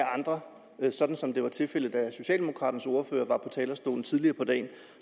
andre sådan som det var tilfældet da socialdemokraternes ordfører var på talerstolen tidligere på dagen